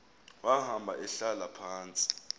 wahamba ehlala phantsi